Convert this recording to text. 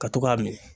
Ka to k'a minɛ